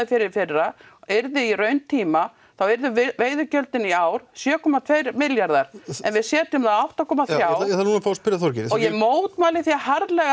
fyrir í fyrra yrði í rauntíma þá yrðu veiðigjöldin í ár sjö komma tvö milljarðar en við setjum það á átta komma þrjá ég þarf núna fá að spyrja Þorgerði og ég mótmæli því harðlega